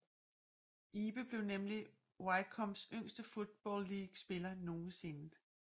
Ibe blev nemlig Wycombes yngste Football League spiller nogensinde